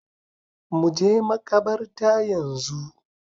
Mu je makabarta yanzu